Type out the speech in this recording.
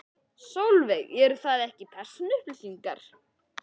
Sólveig: Eru það ekki persónuupplýsingar?